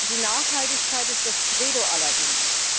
Die Nachhaltigkeit ist das Credo aller Dinge.